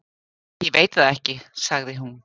Ég veit það ekki, sagði hún.